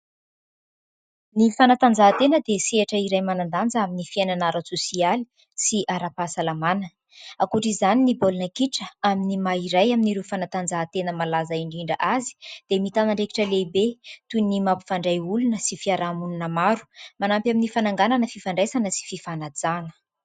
Ny fanatanjahantena dia sehatra iray manan-danja amin'ny fiainana ara-tsosialy sy ara-pahasalamana. Ankoatr'izany ny baolina kitra amin'ny maha-iray amin'ireo fanatanjahantena malaza indrindra azy, dia mitana andraikitra lehibe toy ny mampifandray olona sy fiarahamonina maro. Manampy amin'ny fananganana fifandraisana sy fifanajana.